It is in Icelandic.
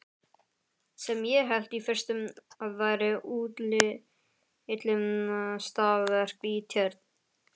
Sem ég hélt í fyrstu að væri útilistaverk í tjörn.